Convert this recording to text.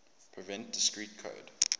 prevent discrete code